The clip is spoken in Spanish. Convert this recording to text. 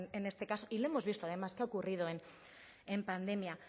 en este caso y lo hemos visto además que ha ocurrido en pandemia